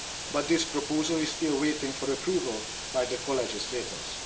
But this proposal is still waiting for approval by the co legislators.